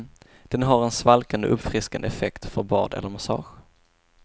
Den har en svalkande och uppfriskande effekt för bad eller massage.